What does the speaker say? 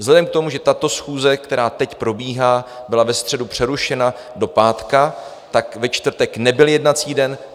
Vzhledem k tomu, že tato schůze, která teď probíhá, byla ve středu přerušena do pátku, tak ve čtvrtek nebyl jednací den.